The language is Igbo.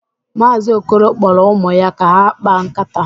Maazi Okoro kporo ụmụ ya ka ha kpaa nkata